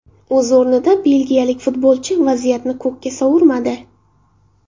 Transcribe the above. O‘z o‘rnida belgiyalik futbolchi vaziyatni ko‘kka sovurmadi.